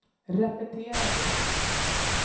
repetera det